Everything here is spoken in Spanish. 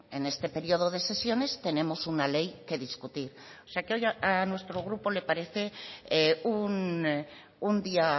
en este periodo de sesiones tenemos una ley que discutir o sea que hoy a nuestro grupo le parece un día